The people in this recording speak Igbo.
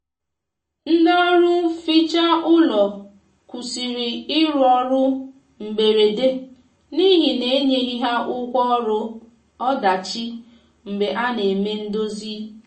ndi ọrụ nfecha ụlọ kwusịrị irụ ọrụ mgberede n'ihi na enyeghi ha ụgwọ ọrụ ọdachi mgbe a na eme ndozi